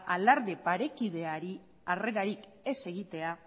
alarde parekideari harrerarik ez egitea